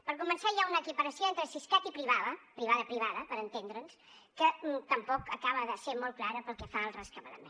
per començar hi ha una equiparació entre siscat i privada privada privada per entendre’ns que tampoc acaba de ser molt clara pel que fa al rescabalament